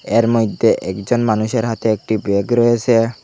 এর মইধ্যে একজন মানুষের হাতে একটি ব্যাগ রয়েসে।